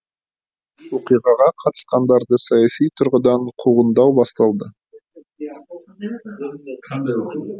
оқиғаға қатысқандарды саяси тұрғыдан қуғындау басталды